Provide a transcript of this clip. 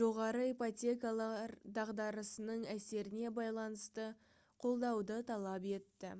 жоғары ипотекалар дағдарысының әсеріне байланысты қолдауды талап етті